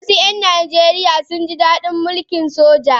Wasu ‘yan Najeriya sun ji dadin mulkin soja.